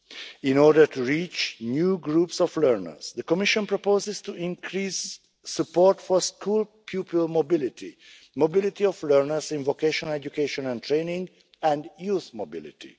In order to reach new groups of learners, the Commission proposes to increase support for school pupil mobility, mobility of learners in vocational education and training, and youth mobility.